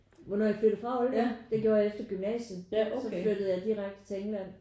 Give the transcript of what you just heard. Hvornår jeg flyttede fra Aalborg? Det gjorde jeg efter gymnasiet så flyttede jeg direkte til England